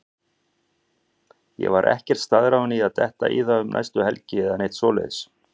Ég var ekkert staðráðinn í að detta í það um næstu helgi eða neitt svoleiðis.